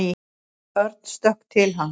Örn stökk til hans.